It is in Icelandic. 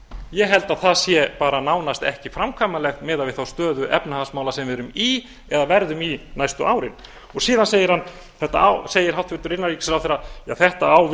ég held að það sé bara nánast ekki framkvæmanlegt miðað við þá stöðu efnahagsmála sem við erum í eða verðum í næstu árin síðan segir hæstvirtur innanríkisráðherra þetta á